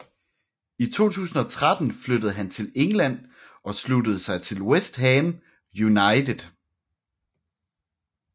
I 2013 flyttede han til England og sluttede sig til West Ham United